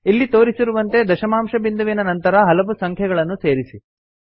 ಇಲ್ಲಿ ತೋರಿಸಿರುವಂತೆ ದಶಮಾಂಶ ಬಿಂದುವಿನ ನಂತರ ಹಲವು ಸಂಖ್ಯೆಗಳನ್ನು ಸೇರಿಸಿ